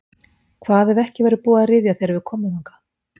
Hvað ef ekki verður búið að ryðja þegar við komum þangað?